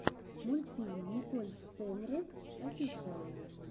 мультфильм николь сейнрэс офишиал